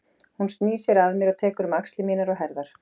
Hún snýr sér að mér og tekur um axlir mínar og herðar.